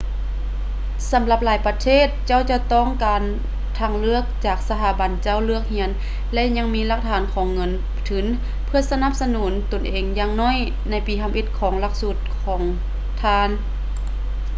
ສຳລັບຫຼາຍປະເທດ ເຈົ້າຈະຕ້ອງການທາງເລືອກຈາກສະຖາບັນເຈົ້າເລືອກຮຽນ ແລະ ຍັງມີຫຼັກຖານຂອງເງິນທຶນເພື່ອສະໜັບສະໜູນຕົນເອງຢ່າງໜ້ອຍໃນປີທຳອິດຂອງຫຼັກສູດຂອງທ່ານ